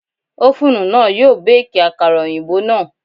Ófúnù náà yóò Báàkì àkàrà òyìnbó náà.